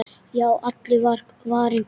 Já, allur var varinn góður!